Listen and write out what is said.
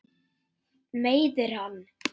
Meiðir hann.